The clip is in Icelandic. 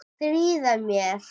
Stríða mér.